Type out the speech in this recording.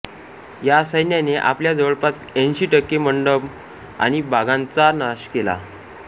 या सैन्याने आपल्या जवळपास ऐंशी टक्के मंडप आणि बागांचा नाश केला